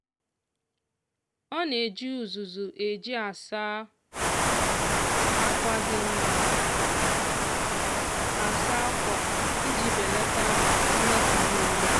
ọ na-eji uzuzu e ji asa akwa dị mma asa akwa iji belata mmetọ mmiri.